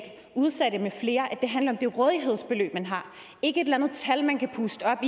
udsatte med flere at det handler om det rådighedsbeløb man har ikke et eller andet tal man kan puste op